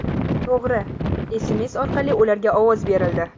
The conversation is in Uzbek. To‘g‘ri, SMS orqali ularga ovoz berildi.